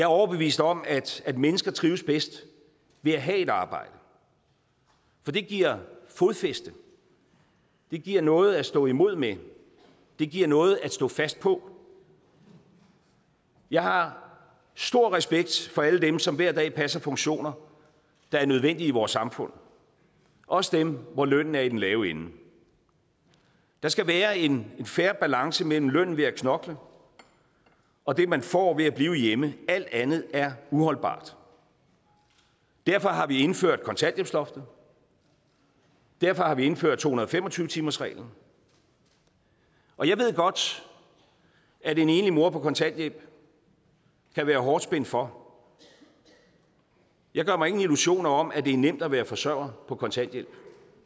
overbevist om at mennesker trives bedst ved at have et arbejde for det giver fodfæste det giver noget at stå imod med det giver noget at stå fast på jeg har stor respekt for alle dem som hver dag passer funktioner der er nødvendige i vores samfund også dem hvor lønnen er i den lave ende der skal være en fair balance mellem lønnen ved at knokle og det man får ved at blive hjemme alt andet er uholdbart derfor har vi indført kontanthjælpsloftet derfor har vi indført to hundrede og fem og tyve timersreglen og jeg ved godt at en enlig mor på kontanthjælp kan være hårdt spændt for jeg gør mig ingen illusioner om at det er nemt at være forsørger på kontanthjælp